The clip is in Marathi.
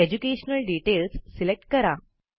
एज्युकेशनल डिटेल्स सिलेक्ट करा